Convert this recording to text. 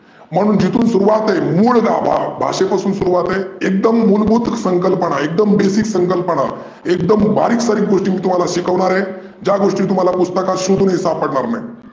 म्हणून जिथून सुरूवात आहे, मुळ गाभा, भाषेपासून सुरूवात आहे. एकदम मुलभूत संकल्पना, एकदम basic संकल्पना. एकदम बारीक सारीक गोष्टी मी तुम्हाला शिकवणार आहे. ज्या गोष्टी पुस्तकार सोधून सापडनार नाही.